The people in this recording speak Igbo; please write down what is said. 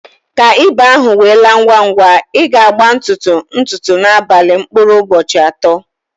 Ka ịba ahụ we laa ngwa ngwa, ị ga agba ntutu, ụtụtụ ná abalị mkpụrụ ụbọchị atọ